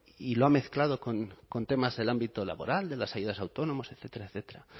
y lo ha mezclado con temas del ámbito laboral de las ayudas a autónomos etcétera etcétera